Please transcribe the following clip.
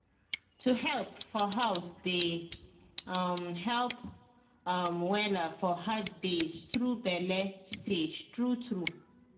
to help for house dey um help um wella for hard days through bele stage true true